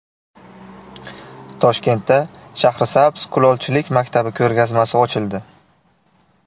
Toshkentda Shahrisabz kulolchilik maktabi ko‘rgazmasi ochildi.